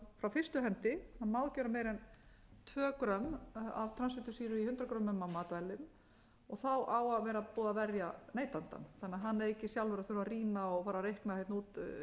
fyrstu hendi má ekki vera meira en tvö g af transfitusýru í hundrað g af matvælum og á að vera búið að verja neytandann þannig að hann eigi ekki sjálfur að þurfa að rýna og fara að reikna út